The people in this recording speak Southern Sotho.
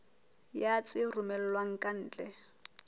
ya tse romellwang ka ntle